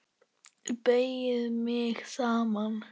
Beygi mig saman.